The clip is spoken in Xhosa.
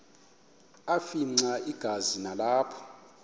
afimxa igazi nalapho